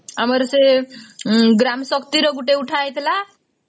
ଆମର ସେ ଗ୍ରାମ ଶକ୍ତି ର ଗୋଟେ ଉଠା ହେଇଥିଲା